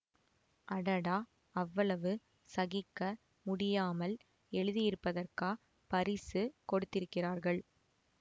அடடா அவ்வளவு சகிக்க முடியாமல் எழுதியிருப்பதற்கா பரிசு கொடுத்திருக்கிறார்கள்